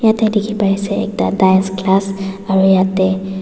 jatte dekhi pai ase ekta dance class aru jatte--